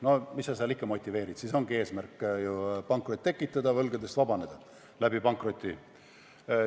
No mis sa seal ikka motiveerid, siis ongi ju eesmärk pankrot tekitada ja seeläbi võlgadest vabaneda.